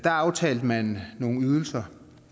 aftalte man nogle ydelser